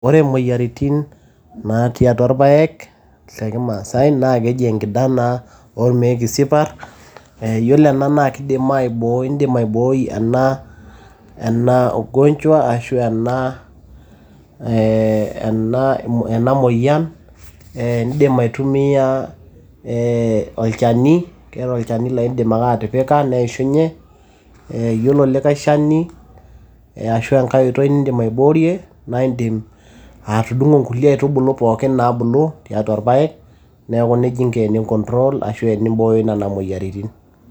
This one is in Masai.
ore imoyiaritin natii atua irpayek te kimaasay naa keji enkidanaa ormeek isiparr ee yiolo ena naa kidim aiboo indim aibooi ena, ena ugonjwa ashu ena ee ena moyian ee indim aitumiyia ee olchani keeta olchani laa indim ake atipika neishunye ee yiolo likay shani ashu enkay oitoi nindim aiboorie naa indim atudung'o inkulie aitubulu pookin naabulu tiatua irpayek neeku nejia inko teninkontrol ashu tenimbooyo nena moyiaritin.